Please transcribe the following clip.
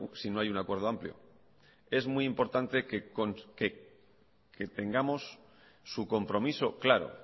si no hay un acuerdo amplio es muy importante que tengamos su compromiso claro